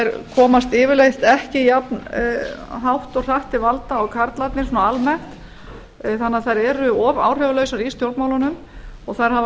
þær komast yfirleitt ekki jafnhátt og hratt til valda og karlarnir almennt þannig að þær eru of áhrifalausar í stjórnmálunum og þær hafa